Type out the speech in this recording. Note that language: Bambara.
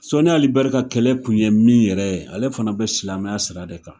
Sɔni Ali Bɛri ka kɛlɛ Kun ye min yɛrɛ ale fana bɛ silamɛya sira de kan.